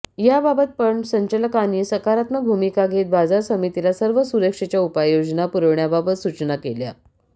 या बाबत पणन संचालकांनी सकारात्मक भूमिका घेत बाजार समितीला सर्व सुरक्षेच्या उपाययोजना पुरविण्याबाबत सूचना केल्या